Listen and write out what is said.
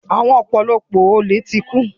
Àwọn ọ̀pọ̀lọpọ̀ olè ti kú.